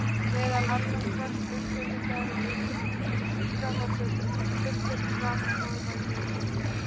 Meðal annars rakst undirritaður á eina síða þar sem fullyrt var að það væri Reykjavík!